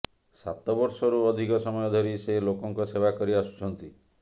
ସାତ ବର୍ଷରୁ ଅଧିକ ସମୟ ଧରି ସେ ଲୋକଙ୍କ ସେବା କରି ଆସୁଛନ୍ତି